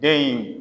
Den in